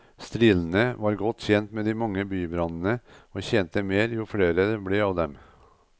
Strilene var godt tjent med de mange bybrannene og tjente mer jo flere det ble av dem.